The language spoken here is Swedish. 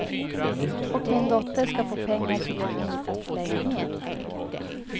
Och min dotter ska få pengar till en insatslägenhet.